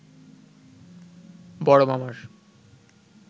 বড় মামার